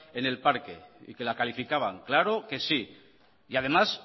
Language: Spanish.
en el parque y que la calificaban claro que sí y además